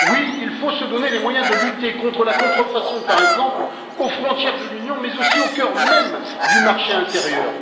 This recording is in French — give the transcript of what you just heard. Oui, il faut se donner les moyens de lutter contre la contrefaçon, par exemple aux frontières de l'Union, mais aussi au cœur même du marché intérieur.